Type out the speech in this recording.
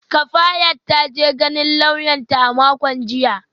Kafayat ta je ganin lauyanta a makon jiya